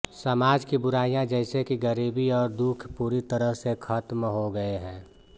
समाज की बुराइयां जैसे कि गरीबी और दुख पूरी तरह से खत्म हो गये हैं